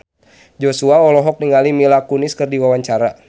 Joshua olohok ningali Mila Kunis keur diwawancara